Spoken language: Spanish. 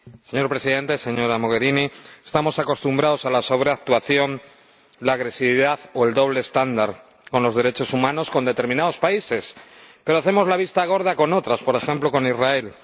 Señor Presidente, señora Mogherini, estamos acostumbrados a la sobreactuación, la agresividad o el doble estándar con los derechos humanos con determinados países, pero hacemos la vista gorda con otros, por ejemplo, con Israel.